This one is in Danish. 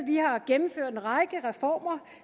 vi har gennemført en række reformer